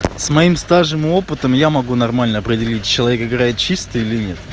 с моим стажем и опытом я могу нормально определить человека играет чистый или нет